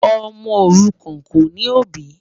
Ọmọ orúkán kò ní obì.